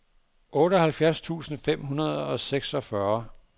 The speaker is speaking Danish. otteoghalvfjerds tusind fem hundrede og seksogfyrre